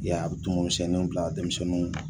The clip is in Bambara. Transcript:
Ɛ a bɛ tumu misɛnninw bila denmisɛnninw